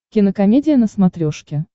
кинокомедия на смотрешке